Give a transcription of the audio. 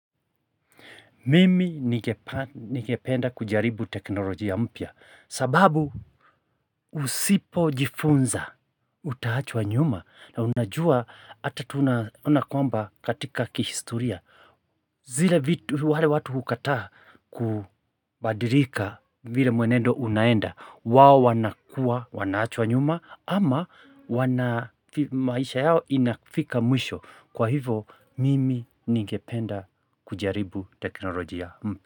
Mimi nigependa kujaribu teknolojia mpya sababu usipo jifunza utaachwa nyuma na unajua hata tunakwamba katika kihistoria zile wale watu hukata kubadirika vile mwenendo unaenda wao wanakua wanachwa nyuma ama maisha yao inafika mwisho kwa hivo mimi nigependa kujaribu teknolojia mpya.